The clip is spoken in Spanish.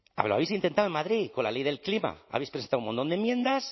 ahora lo habéis intentado en madrid con la ley del clima habéis presentado un montón de enmiendas